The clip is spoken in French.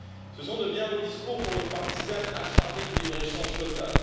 Ce sont de bien beaux discours pour une partisane acharnée du libre échange total.